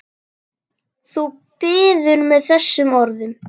Þú biður með þessum orðum.